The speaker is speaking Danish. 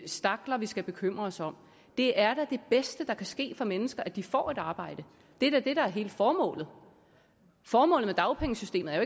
stakler vi skal bekymre os om det er da det bedste der kan ske for mennesker at de får et arbejde det er da det der er hele formålet formålet med dagpengesystemet er